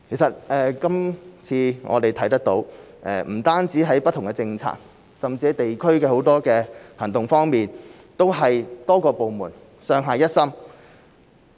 這次我們看到不止不同政策，甚至許多地區行動方面都是多個部門上下一心。